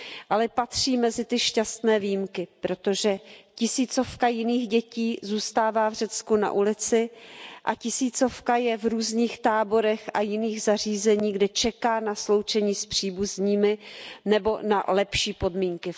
Ale patří mezi ty šťastné výjimky, protože tisícovka jiných dětí zůstává v Řecku na ulici a tisícovka je v různých táborech a v jiných zařízeních, kde čeká na sloučení s příbuznými nebo na lepší podmínky.